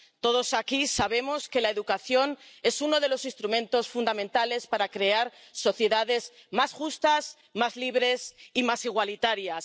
Todos aquí sabemos que la educación es uno de los instrumentos fundamentales para crear sociedades más justas, más libres y más igualitarias.